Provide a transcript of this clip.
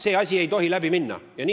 See asi ei tohi läbi minna!